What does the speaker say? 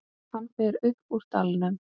Hann fer upp úr dalnum.